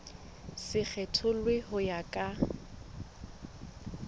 se kgethollwe ho ya ka